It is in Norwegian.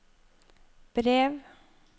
brev